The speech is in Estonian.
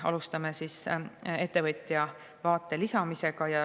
Alustame ettevõtja vaate lisamisega.